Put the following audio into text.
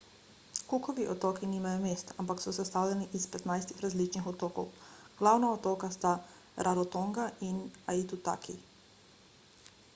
cookovi otoki nimajo mest ampak so sestavljeni iz 15 različnih otokov glavna otoka sta rarotonga in aitutaki